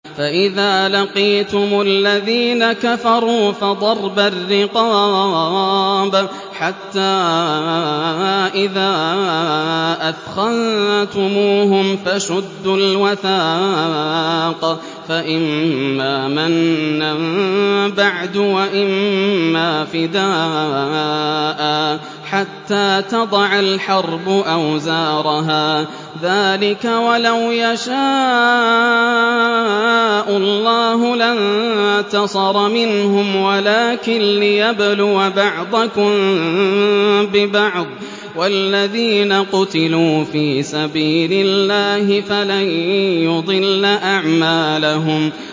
فَإِذَا لَقِيتُمُ الَّذِينَ كَفَرُوا فَضَرْبَ الرِّقَابِ حَتَّىٰ إِذَا أَثْخَنتُمُوهُمْ فَشُدُّوا الْوَثَاقَ فَإِمَّا مَنًّا بَعْدُ وَإِمَّا فِدَاءً حَتَّىٰ تَضَعَ الْحَرْبُ أَوْزَارَهَا ۚ ذَٰلِكَ وَلَوْ يَشَاءُ اللَّهُ لَانتَصَرَ مِنْهُمْ وَلَٰكِن لِّيَبْلُوَ بَعْضَكُم بِبَعْضٍ ۗ وَالَّذِينَ قُتِلُوا فِي سَبِيلِ اللَّهِ فَلَن يُضِلَّ أَعْمَالَهُمْ